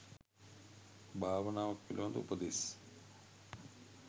භාවනාවක් පිළිබඳ උපදෙස්